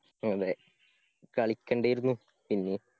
അതേ കളിക്കണ്ടീര്ന്നു പിന്നെ